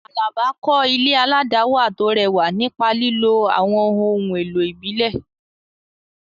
Alaba kọ́ ilé aládàáwà tó rẹwà nípa lílo àwọn ohun èlò ìbílẹ̀.